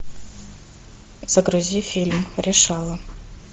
загрузи фильм решала